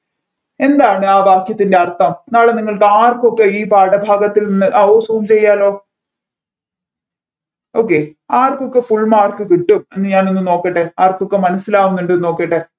എന്താണ് ആ വാക്യത്തിൻെറ അർഥം നാളെ നിങ്ങൾക്ക് ആർക്കൊക്കെ ഈ പാഠഭാഗത്തിൽ നിന്ന് ആ ഓ zoom ചെയ്യലോ okay ആർക്കൊക്കെ full mark കിട്ടും എന്ന് ഞാനൊന്നു നോക്കട്ടെ ആർക്കൊക്കെ മനസ്സിലാകുന്നുണ്ട് നോക്കട്ടെ